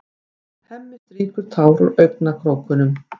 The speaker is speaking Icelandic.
Hemmi strýkur tár úr augnakrókunum.